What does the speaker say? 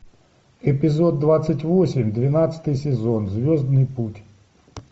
эпизод двадцать восемь двенадцатый сезон звездный путь